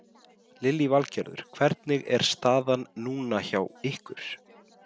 Lillý Valgerður: Hvernig er staðan núna hjá ykkur?